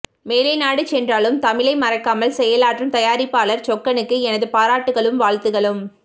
மேலை நாடு சென்றாலும் தமிழை மறக்காமல் செயலாற்றும் தயாரிப்பாளர் சொக்கனுக்கு எனது பாராட்டுகளும் வாழ்த்துக்களும்